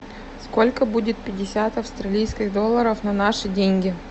сколько будет пятьдесят австралийских долларов на наши деньги